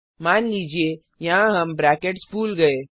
मान लीजिए यहाँ हम ब्रैकेट्स भूल गए